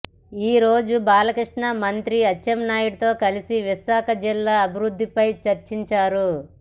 ఈరోజు బాలకృష్ణ మంత్రి అచ్చాన్నాయుడుతో కలసి విశాఖ జిల్లా అభివృద్ధిపై చర్చించారు